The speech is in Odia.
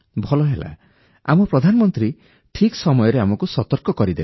ଭଲ ହେଲା ଆମ ପ୍ରଧାନମନ୍ତ୍ରୀ ଠିକ୍ ସମୟରେ ଆମକୁ ସତର୍କ କରିଦେଲେ